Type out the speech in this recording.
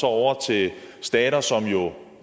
over til stater som jo